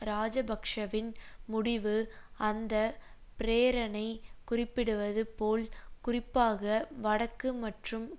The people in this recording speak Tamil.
இராஜபக்ஷவின் முடிவு அந்த பிரேரணை குறிப்பிடுவது போல் குறிப்பாக வடக்கு மற்றும்